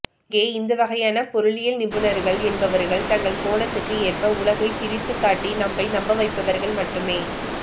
இங்கே இந்தவகையான பொருளியல்நிபுணர்கள் என்பவர்கள் தங்கள் கோணத்துக்கு ஏற்ப உலகைத் திரித்துக்காட்டி நம்மை நம்பவைப்பவர்கள் மட்டுமே